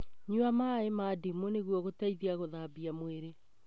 Nyua maĩ ma ndimũ nĩguo gũteithia gũthambia mwĩrĩ.